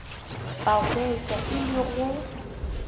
ba hwetša e le go